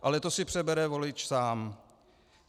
Ale to si přebere volič sám.